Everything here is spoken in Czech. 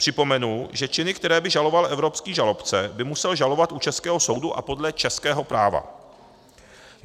Připomenu, že činy, které by žaloval evropský žalobce, by musel žalovat u českého soudu a podle českého práva.